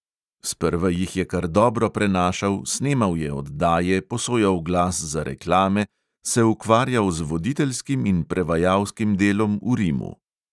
Sprva jih je kar dobro prenašal, snemal je oddaje, posojal glas za reklame, se ukvarjal z voditeljskim in prevajalskim delom v rimu.